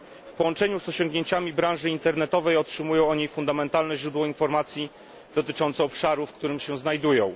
W połączeniu z osiągnięciami branży internetowej otrzymują oni fundamentalne źródło informacji dotyczących obszaru, w którym się znajdują.